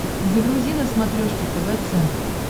загрузи на смотрешке тв центр